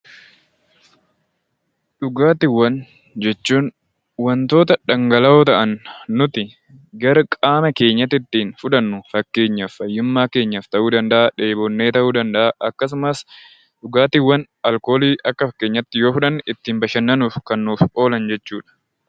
Dhugaatiiwwan jechuun wantoota dhangala'oo ta'an nuti gara qaama keenyaattiin fudhannu fakkeenyaaf fayyummaa keenyaaf ta'uu danda'aa, dheebonnee ta'uu danda'aa akkasumas dhugaatiiwwan alkoolii akka fakkeenyaatti yoo fudhanne ittiin bashannanuuf kan nuuf oolan jechuu dha.